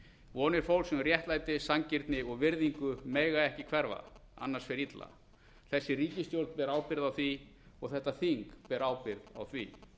vonir fólks um réttlæti sanngirni og virðingu mega ekki hverfa annars fer illa þessi ríkisstjórn ber ábyrgð á því og þetta þing ber ábyrgð á því